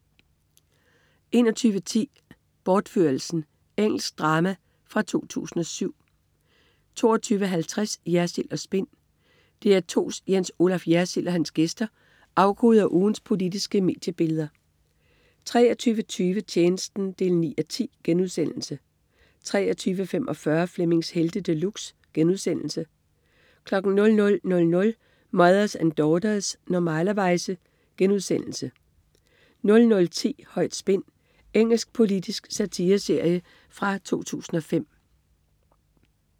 21.10 Bortførelsen. Engelsk drama fra 2007 22.50 Jersild & Spin. DR2's Jens Olaf Jersild og hans gæster afkoder ugens politiske mediebilleder 23.20 Tjenesten 9:10* 23.45 Flemmings Helte De Luxe* 00.00 Mothers and Daughters. Normalerweize* 00.10 Højt spin. Engelsk politisk satireserie fra 2005